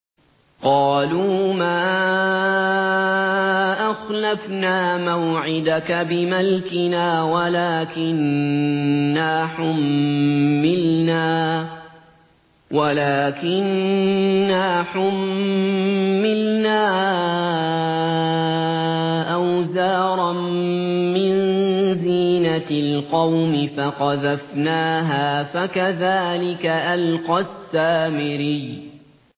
قَالُوا مَا أَخْلَفْنَا مَوْعِدَكَ بِمَلْكِنَا وَلَٰكِنَّا حُمِّلْنَا أَوْزَارًا مِّن زِينَةِ الْقَوْمِ فَقَذَفْنَاهَا فَكَذَٰلِكَ أَلْقَى السَّامِرِيُّ